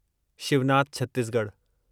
Shivnath Chhattisgarh